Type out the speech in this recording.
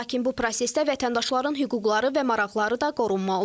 Lakin bu prosesdə vətəndaşların hüquqları və maraqları da qorunmalıdır.